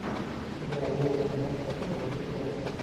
игра вулверхэмптона против челси